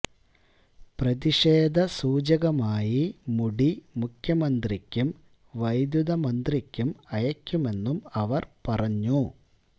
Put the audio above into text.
പ്രതിഷേധ സൂചകമായി മുടി മുഖ്യമന്ത്രിക്കും വൈദ്യുത മന്ത്രിക്കും അയയ്ക്കുമെന്നും അവര് പറഞ്ഞു